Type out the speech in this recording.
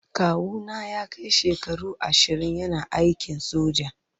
Kawu na ya kai shekaru ashirin yana aikin soja.